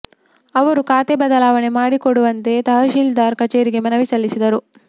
ಅವರು ಖಾತೆ ಬದಲಾವಣೆ ಮಾಡಿ ಕೊಡುವಂತೆ ತಹಶೀಲ್ದಾರ್ ಕಚೇರಿಗೆ ಮನವಿ ಸಲ್ಲಿಸಿದರು